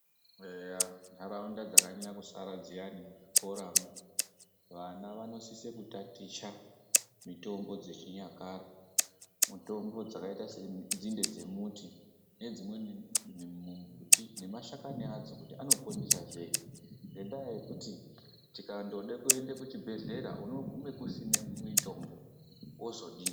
Eya, ndaraunda dzakanyanya kusara dziyani muzvikoramwo, vana vanosisa kutaticha mitombo dzechinyakare, mitombo dzakayita senzinde dzemuti, nedzimweni mimbuti nemashakani adzo kuti anoponesa sei, ngendaa yekuti tikandoda kuenda kuchibhedhlera, unogume kusina mitombo, wozodini?